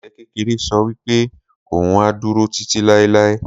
Adìe kékeré sọ wípé òhun á dúró títí láéláé